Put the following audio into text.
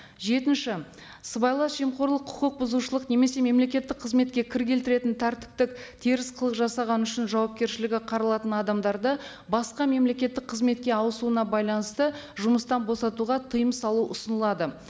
жетінші сыбайлас жемқорлық құқық бұзушылық немесе мемлекеттік қызметке кір келтіретін тәртіптік теріс қылық жасаған үшін жауапкершілігі қаралатын адамдарды басқа мемлекеттік қызметке ауысуына байланысты жұмыстан босатуға тыйым салу ұсынылады